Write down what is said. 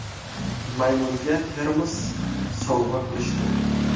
Maymunga termos sovg‘a qilishdi.